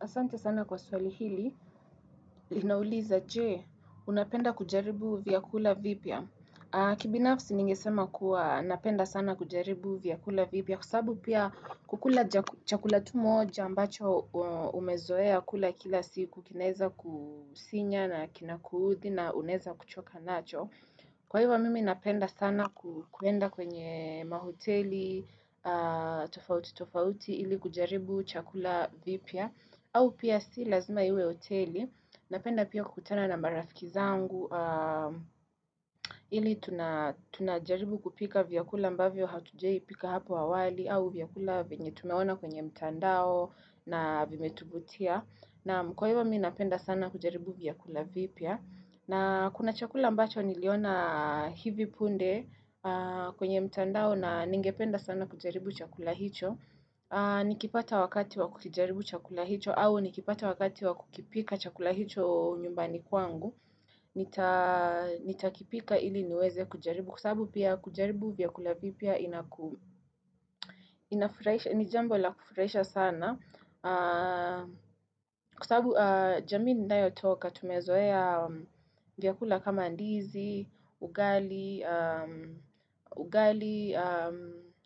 Asante sana kwa swali hili, linauliza je, unapenda kujaribu vyakula vipya. Kibinafsi ningesema kuwa napenda sana kujaribu vyakula vipya. Kwa sababu pia kukula ja chakula tu moja ambacho umezoea kula kila siku kinaeza kusinya na kina kuuthi na unaeza kuchoka nacho. Kwa hivyo mimi napenda sana ku kwenda kwenye mahoteli tofauti tofauti ili kujaribu chakula vipya. Au pia si lazima iwe hoteli, napenda pia kukutana na marafiki zangu, ili tuna tunajaribu kupika vyakula ambavyo hatujai pika hapo awali, au vyakula venye tumeona kwenye mtandao na vimetuvutia, naam kwa hivyo mimi napenda sana kujaribu vyakula vipya. Na kuna chakula ambacho niliona hivi punde kwenye mtandao na ningependa sana kujaribu chakula hicho, Nikipata wakati wakukijaribu chakula hicho au ni kipata wakati wakukipika chakula hicho nyumbani kwangu Nitakipika ili niweze kujaribu kwa sababu pia kujaribu vyakula vipya inaku inafurahisha ni jambo la kufurahisha sana kwa sababu jamii ninayo toka tumezoea vyakula kama ndizi, ugali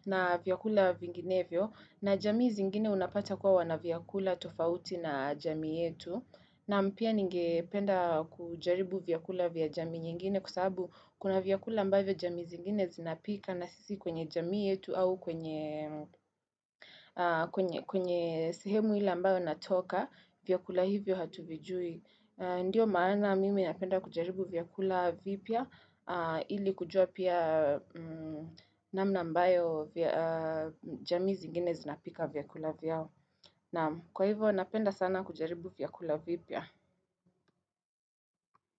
na vyakula vinginevyo na jamii zingine unapata kuwa wana vyakula tofauti na jamii yetu na mpya ningependa kujaribu vyakula vya jamii nyingine kwa sababu kuna vyakula ambavyo jamii zingine zinapika na sisi kwenye jamii yetu au kwenye kwenye sehemu ila ambayo natoka vyakula hivyo hatuvijui ndio maana mimi napenda kujaribu vyakula vipya Ili kujua pia namna ambayo vya jamii zigine zinapika vyakula vyao na kwa hivyo napenda sana kujaribu vyakula vipya.